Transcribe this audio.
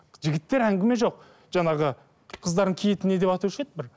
жігіттер әңгіме жоқ жаңағы қыздардың киетінін не деп айтушы еді бір